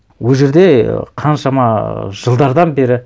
ол жерде қаншама жылдардан бері